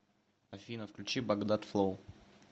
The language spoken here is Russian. афина включи багдад флоу